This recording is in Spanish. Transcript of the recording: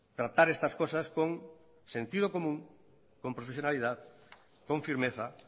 tratar estas cosas con sentido común con profesionalidad con firmeza